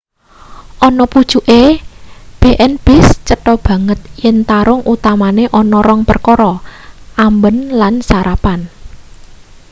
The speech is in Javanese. ana pucuke b&bs cetho banget yen tarung utamane ana rong perkara: amben lan sarapan